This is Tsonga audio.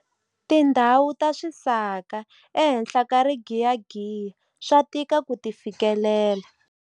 Tindhawu ta swisaka ehenhla ka rigiyagiya swa tika ku ti fikelela.